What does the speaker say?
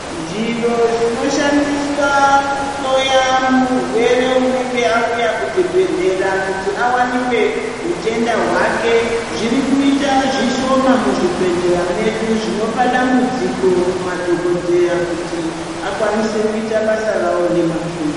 Zviro zvinoshandiswa kuhloya murwere unenge auya kuchibhedhlera kuti awanikwe hutenda hwake zvirikuita zvishoma muzvibhedhlera medu, zvinopa dambudziko kumadhogodheya kuti akwanise kuita basa rawo nemazvo.